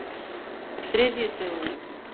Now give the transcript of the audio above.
þriðjudögunum